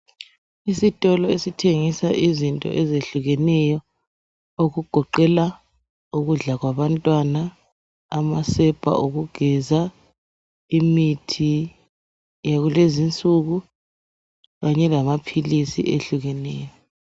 Isitolo esithengisa izinto ezehlukeneyo okugoqela ukudla kwabantwana amasepa okugeza imithi yakulezi nsuku kanye lama philisi ehlukeneyo